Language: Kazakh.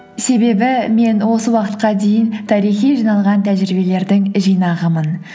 себебі мен осы уақытқа дейін тарихи жиналған тәжірибелердің жинағымын